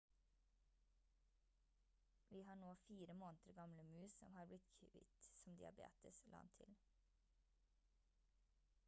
«vi har nå 4 måneder gamle mus som har blitt kvitt son diabetes» la han til